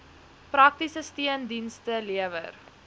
praktiese steundienste lewer